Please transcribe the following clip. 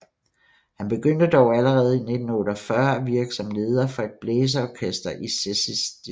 Han begyndte dog allerede i 1948 at virke som leder for et blæseorkester i Cēsis distrikt